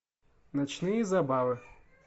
ночные забавы